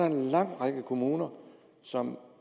en lang række kommuner som